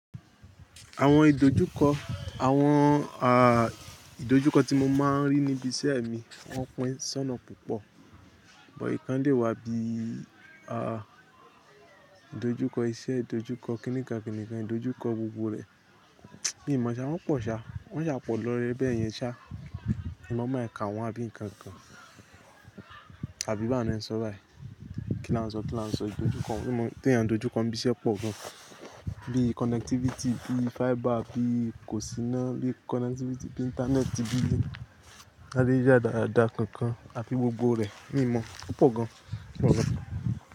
Àwọn ìdojúkọ, àwọn ah ìdojúkọ tí mo máa ń rí níbi iṣẹ́ mi, wọ́n pín sọ na púpọ̀. Ọ̀nà ìkán dé wá bí ah ìdojúkọ iṣẹ́, ìdojúkọ kíníkan kíníkan, ìdojúkọ gbogbo rẹ̀, bíi ìmo ọṣẹ wọ́n pọ̀ ṣá, wọ́n yà pọ̀ lọ́ rẹ, bẹ́ẹ̀ yẹn ṣá. Mo máa ń ka wọn bí nǹkan kan, àbí báwo ni ẹ ń sọ rárá. Kí la ń sọ, kí la ń sọ ìdojúkọ? Mo mọ̀ pé ìyàn ìdojúkọ ibi iṣẹ́ pọ̀ gan bí connectivity, bí fiber, bí kòsíná, bí connectivity, bí Íńtánẹ́ẹ̀tì, bí ilé adéjádádá kankan àti gbogbo rẹ̀, mi ò mọ̀, ó pọ̀ gan, ó pọ̀ gan.